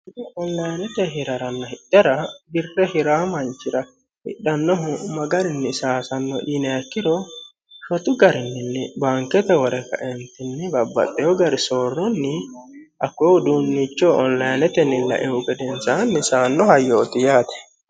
onllaanete hira'ranno hidhera birre hiraa manchira hidhannohu ma garinni saasanno ineekkiro sotu garinninni baankete wore kaentinni babbaxxeyo gari soorronni akkoe huduunnicho ollayanetenni laehu gedensaa misaannoha yooti yaate